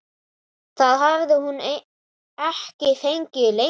Það hafði hún ekki fengið lengi.